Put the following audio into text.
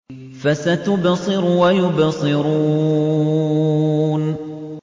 فَسَتُبْصِرُ وَيُبْصِرُونَ